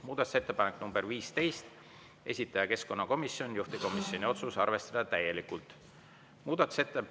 Muudatusettepanek nr 15, esitaja keskkonnakomisjon, juhtivkomisjoni otsus: arvestada täielikult.